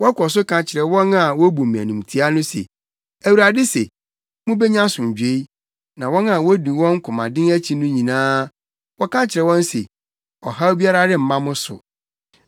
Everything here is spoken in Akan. Wɔkɔ so ka kyerɛ wɔn a wobu me animtiaa no se, ‘ Awurade se: Mubenya asomdwoe.’ Na wɔn a wodi wɔn komaden akyi no nyinaa, wɔka kyerɛ wɔn se, ‘Ɔhaw biara remma mo so.’